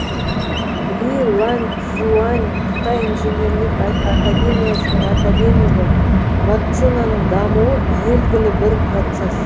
ли ланьцзюань қытай инженерлік академиясының академигі вакцинаның дамуы белгілі бір процесс